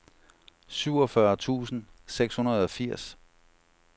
syvogfyrre tusind seks hundrede og firs